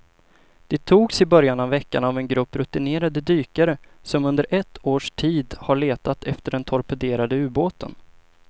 De togs i början av veckan av en grupp rutinerade dykare som under ett års tid har letat efter den torpederade ubåten.